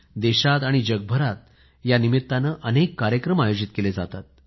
देशात आणि जगभरात अनेक कार्यक्रम आयोजित केले जातात